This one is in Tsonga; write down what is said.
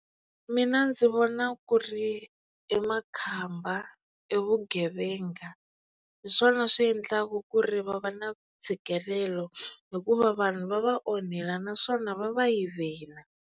Mina ndzi vona ku ri e makhamba e vugevenga hi swona swi endlaka ku ri va va na ntshikelelo hikuva vanhu va va onhela naswona va va yivela.